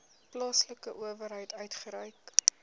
plaaslike owerheid uitgereik